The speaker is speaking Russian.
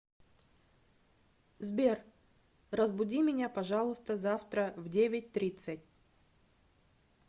сбер разбуди меня пожалуйста завтра в девять тридцать